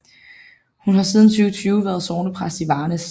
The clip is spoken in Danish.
Hun har siden 2020 været sognepræst i Varnæs